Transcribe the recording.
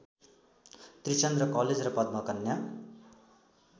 Trichandra college र पद्मकन्या